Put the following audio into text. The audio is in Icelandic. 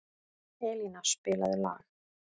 Elíana, spilaðu lag.